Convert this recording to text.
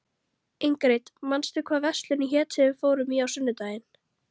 Ingrid, manstu hvað verslunin hét sem við fórum í á sunnudaginn?